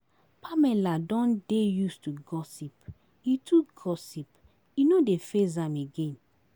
Pamela don dey used to gossip, e too gossip, e no dey faze am again